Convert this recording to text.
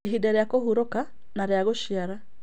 Ihinda rĩa kũhurũka na rĩa gũciara